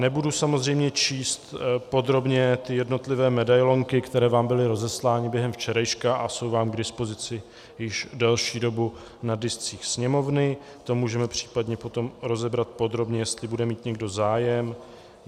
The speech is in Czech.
Nebudu samozřejmě číst podrobně ty jednotlivé medailonky, které vám byly rozeslány během včerejška a jsou vám k dispozici již delší dobu na discích Sněmovny, to můžeme případně potom rozebrat podrobně, jestli bude mít někdo zájem.